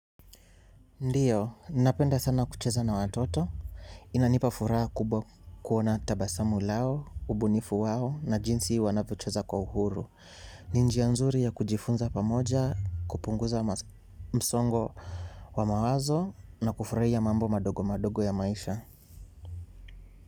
Ndiyo, ninapenda sana kucheza na watoto. Inanipa furaha kubwa kuona tabasamu lao, ubunifu wao na jinsi wanavyocheza kwa uhuru. Ni njia nzuri ya kujifunza pamoja, kupunguza msongo wa mawazo na kufurahia mambo madogo madogo ya maisha.